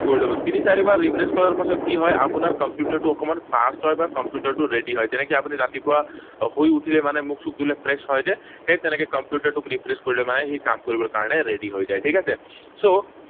কৰি লব। তিনি চাৰিবাৰ refresh কৰাৰ পাছত কি হয়? আপোনাৰ কম্পিউটাৰটো অকণমান fast হয়, বা কম্পিউটাৰটো ready হয়। যেনেকৈ আপুনি ৰাতিপুৱা শুই উঠিলে মানে মুখ চুখ ধুলে fresh হয় যে, সেই তেনেকৈ কম্পিউটাৰটোক refresh কৰিলে মানে সি কাম কৰিবলে কাৰণে ready হৈ যায়, ঠিক আছে? So,